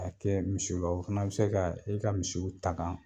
Ka kɛ misiw la o fana bɛ se ka i ka misiw tagan